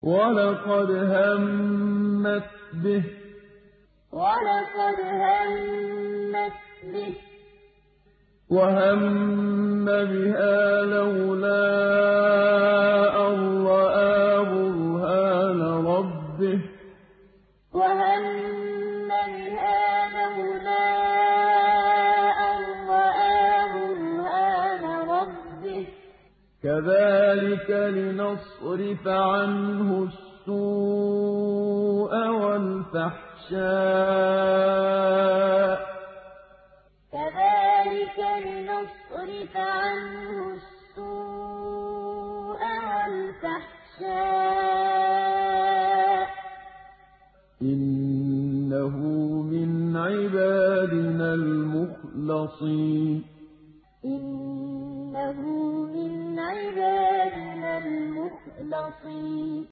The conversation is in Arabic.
وَلَقَدْ هَمَّتْ بِهِ ۖ وَهَمَّ بِهَا لَوْلَا أَن رَّأَىٰ بُرْهَانَ رَبِّهِ ۚ كَذَٰلِكَ لِنَصْرِفَ عَنْهُ السُّوءَ وَالْفَحْشَاءَ ۚ إِنَّهُ مِنْ عِبَادِنَا الْمُخْلَصِينَ وَلَقَدْ هَمَّتْ بِهِ ۖ وَهَمَّ بِهَا لَوْلَا أَن رَّأَىٰ بُرْهَانَ رَبِّهِ ۚ كَذَٰلِكَ لِنَصْرِفَ عَنْهُ السُّوءَ وَالْفَحْشَاءَ ۚ إِنَّهُ مِنْ عِبَادِنَا الْمُخْلَصِينَ